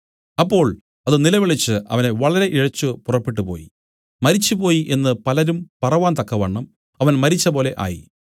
അപ്പോൾ അത് നിലവിളിച്ച് അവനെ വളരെ ഇഴച്ചു പുറപ്പെട്ടുപോയി മരിച്ചുപോയി എന്നു പലരും പറവാൻ തക്കവണ്ണം അവൻ മരിച്ചപോലെ ആയി